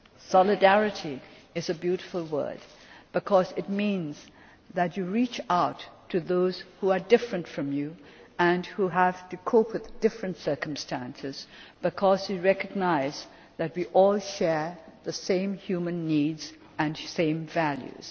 Solidarity is a beautiful word because it means that you reach out to those who are different from you and who have to cope with different circumstances, because we recognise that we all share the same human needs and the same values.